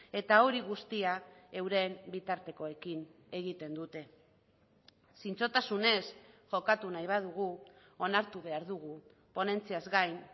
eta hori guztia euren bitartekoekin egiten dute zintzotasunez jokatu nahi badugu onartu behar dugu ponentziaz gain